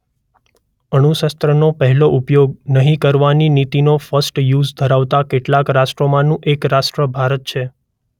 અણુ શસ્ત્રોનો પહેલો ઉપયોગ નહીં કરવાની નીતિ નો ફર્સ્ટ યુઝ ધરાવતા કેટલાંક રાષ્ટ્રોમાંનું એક રાષ્ટ્ર ભારત છે.